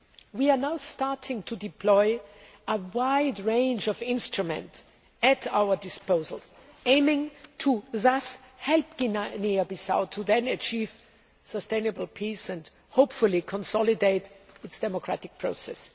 We are now starting to deploy the wide range of instruments at our disposal, thus aiming to help Guinea Bissau achieve sustainable peace and, hopefully, consolidate its democratic process.